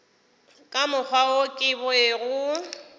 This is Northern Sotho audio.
ka mokgwa wo ke bego